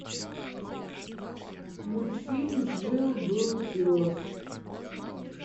мультфильм жил был пес